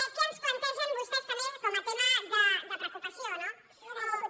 què ens plantegen vostès també com a tema de preocupació no o